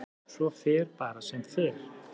Svo fer bara sem fer.